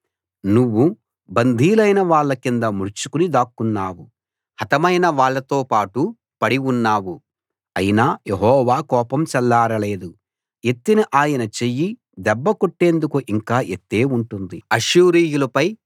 నువ్వు బందీలైన వాళ్ళ కింద ముడుచుకుని దాక్కున్నావు హతమైన వాళ్ళతోపాటు పడి ఉన్నావు అయినా యెహోవా కోపం చల్లారలేదు ఎత్తిన ఆయన చెయ్యి దెబ్బ కొట్టేందుకు ఇంకా ఎత్తే ఉంటుంది